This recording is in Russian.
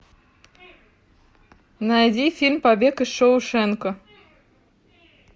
найди фильм побег из шоушенка